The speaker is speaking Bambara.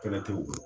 Kɛlɛ tɛ u bolo